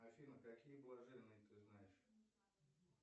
афина какие блаженные ты знаешь